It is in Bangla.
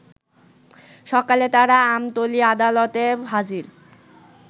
সকালে তারা আমতলী আদালতে হাজির